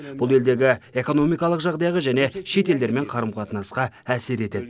бұл елдегі экономикалық жағдайға және шет елдермен қарым қатынасқа әсер етеді